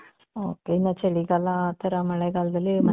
ok ಇವಾಗ ಚಳಿಗಾಲ ಆ ತರ ಮಳೆಗಾಲದಲ್ಲಿ .